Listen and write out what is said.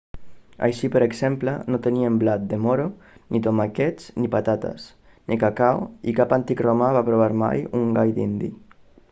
així per exemple no tenien blat de moro ni tomàquets ni patates ni cacau i cap antic romà va provar mai un gall dindi